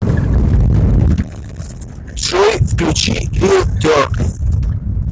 джой включи лил дерк